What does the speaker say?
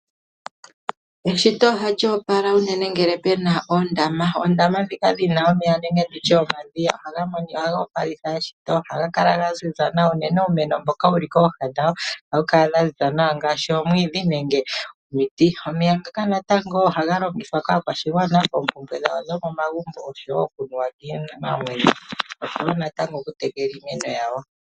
Eshito ohali opala unene ngele puna oondama. Ondama ndhika dhina omeya nenge tutye omadhiya, ohaga opalitha eshito. Ohaga kala ga ziza nawa, unene uumeno mboka wuli kooha dhawo, ohawu kala wa ziza nawa ngaashi omwiidhi nenge omiti. Omeya ngaka natango ohaga longithwa kaakwashigwana koompumbwe dhawo dhokomagumbo oshowo okunuwa kiinamwenyo, oshowo natango oku tekela iimeno yawo.